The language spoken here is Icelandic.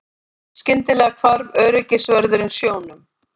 Skyndilega hvarf öryggisvörðurinn sjónum.